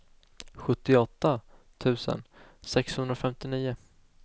sjuttioåtta tusen sexhundrafemtionio